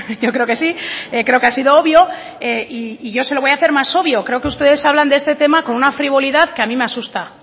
yo creo que sí creo que ha sido obvio y yo se lo voy a hacer más obvio creo que ustedes hablan de este tema con una frivolidad que a mí me asusta